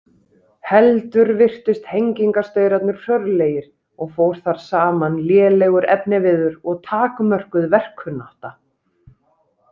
Heldur virtust hengingarstaurarnir hrörlegir og fór þar saman lélegur efniviður og takmörkuð verkkunnátta.